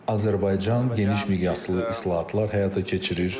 Azərbaycan geniş miqyaslı islahatlar həyata keçirir.